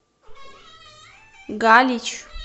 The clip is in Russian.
галич